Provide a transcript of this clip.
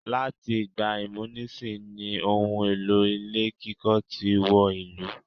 Láti ìgbà ìmúnisì ní ohun èlò ilé kíkọ́ tí wọ ìlú.